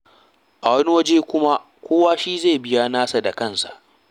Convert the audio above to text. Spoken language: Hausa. A wani wajen kuma, kowa shi zai biya nasa da kansa.